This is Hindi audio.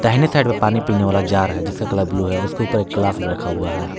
दाहिने साइड पे पानी पीने वाला जार है जिसका कलर ब्लू है उसके ऊपर एक ग्लास भी रखा हुआ है।